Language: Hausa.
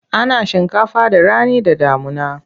Ana shinkafa da rani da damuna.